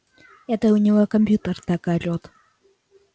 это у него компьютер так орет